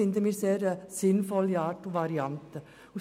Dies scheint uns eine sinnvolle Variante zu sein.